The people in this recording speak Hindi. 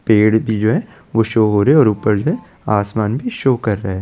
पेड़ भी जो हैं वो शो हो रहे है आसमान भी शो कर रहा--